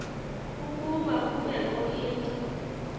ukuba kubekho into